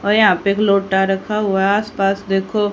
और यहां पे एक लोटा रखा हुआ आसपास देखो--